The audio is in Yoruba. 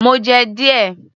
Mo jẹ́ díẹ̀